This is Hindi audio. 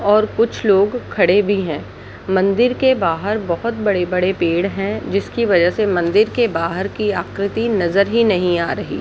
और कुछ लोग खड़े भी हैं मंदिर के बाहर बहुत बड़े-बड़े पेड़ हैं जिसके वजह से मंदिर के बाहर की आकृति नजर ही नहीं आ रही --